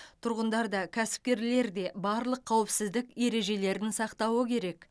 тұрғындар да кәсіпкерлер де барлық қауіпсіздік ережелерін сақтауы керек